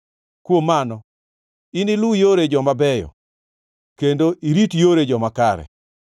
Kuom mano, iniluw yore joma beyo kendo irit yore joma kare.